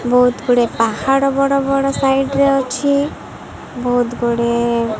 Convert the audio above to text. ବହୁତ ଗୁଡ଼ିଏ ପାହାଡ଼ ବଡ଼ ବଡ଼ ସାଇଟ ରେ ଅଛି। ବହୁତ ଗୁଡ଼େ --